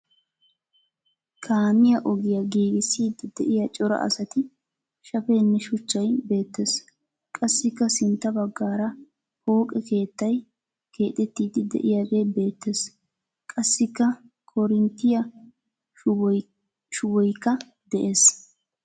Kaamiya ogiya giigissiidi diya cora asati, shafenne shuchchay beettes. Qassikka sintta baggaara pooqe keettay keexettiiddi diyagee beettes. Qassikka koorinttiya shuboyikka des.